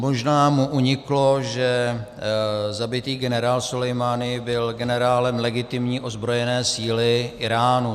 Možná mu uniklo, že zabitý generál Sulejmání byl generálem legitimní ozbrojené síly Íránu.